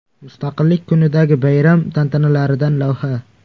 Mustaqillik kunidagi bayram tantanalaridan lavha.